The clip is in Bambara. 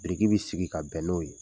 Biriki bɛ sigi ka bɛn n'o ye